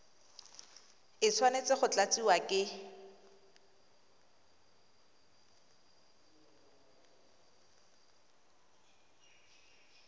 e tshwanetse go tlatsiwa ke